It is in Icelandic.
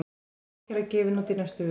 Ákæra gefin út í næstu viku